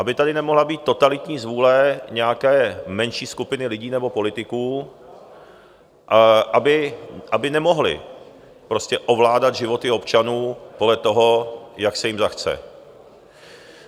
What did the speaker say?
Aby tady nemohla být totalitní zvůle nějaké menší skupiny lidí nebo politiků, aby nemohli prostě ovládat životy občanů podle toho, jak se jim zachce.